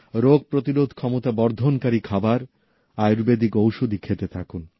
রোগ প্রতিরোধ ক্ষমতা বর্ধনকারী খাবার আয়ুর্বেদিক ঔষধি খেতে থাকুন